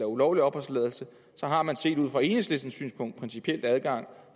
ulovlig opholdstilladelse så har man set ud fra enhedslistens synspunkt principielt adgang